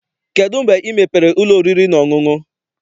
Kedụ mgbe ị mepere ụlọ oriri na ọṅụṅụ?